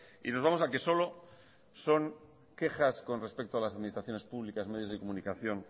y nos vamos a que solo son quejas con respecto a las administraciones públicas medios de comunicación